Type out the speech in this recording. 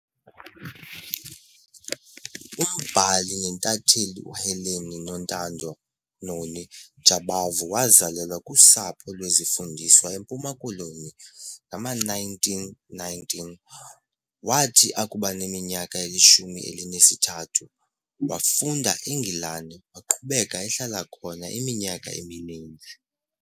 Umbhali nentatheli uHelen Nontando, Noni, Jabavu wazalelwa kusapho lwezifundiswa eMpuma Koloni ngama-1919. Wathi akubaneminyaka elishumi elinesithathu, wafunda eNgilandi, waqhubeka ehlala khona iminyaka emininzi.